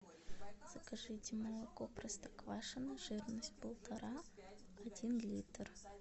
закажите молоко простоквашино жирность полтора один литр